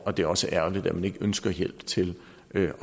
og det er også ærgerligt at man ikke ønsker hjælp til at